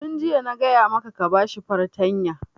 Tun jiya na gaya maka ka ba shi fartanya!